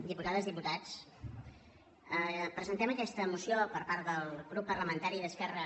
diputades diputats presentem aquesta moció per part del grup parlamentari d’esquerra